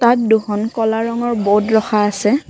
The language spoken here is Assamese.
ইয়াত দুখন ক'লা ৰঙৰ বৰ্ড ৰখা আছে।